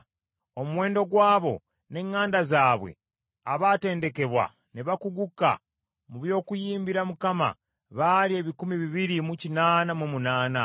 Omuwendo gw’abo n’eŋŋanda zaabwe abatendekebwa ne bakuguka mu by’okuyimbira Mukama baali ebikumi bibiri mu kinaana mu munaana.